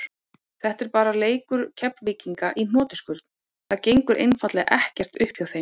Þetta er bara leikur Keflvíkinga í hnotskurn, það gengur einfaldlega ekkert upp hjá þeim.